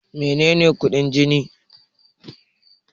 Mene ne kuɗin jini?